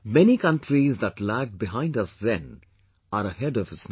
Many countries that lagged behind us then, are ahead of us now